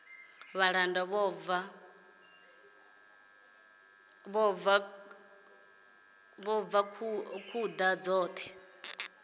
vhalanda vho bva khuḓa dzoṱhe